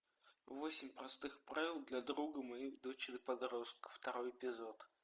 восемь простых правил для друга моей дочери подростка второй эпизод